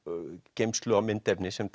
geymslu á myndefni sem